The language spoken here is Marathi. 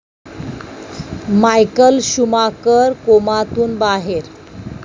मायकल शूमाकर कोमातून बाहेर